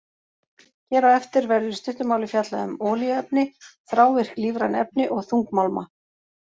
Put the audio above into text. Hér á eftir verður í stuttu máli fjallað um olíuefni, þrávirk lífræn efni og þungmálma.